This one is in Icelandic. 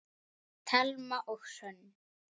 Thelma og Hrönn.